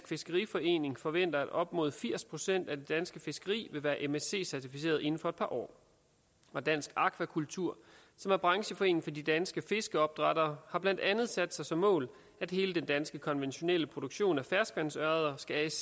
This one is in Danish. fiskeriforening forventer at op mod firs procent af det danske fiskeri vil være msc certificeret inden for et par år og dansk akvakultur som er brancheforening for de danske fiskeopdrættere har blandt andet sat sig som mål at hele den danske konventionelle produktion af ferskvandsørreder skal asc